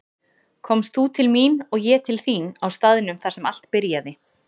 Komst þú til mín og ég til þín á staðnum þar sem allt byrjaði.